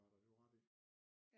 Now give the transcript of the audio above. Var der det var rart ikke